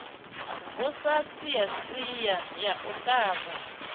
vusa shiashia ya u ṱhavha